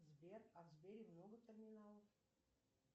сбер а в сбере много терминалов